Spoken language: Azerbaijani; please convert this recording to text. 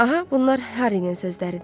Aha, bunlar Harrynin sözləridir.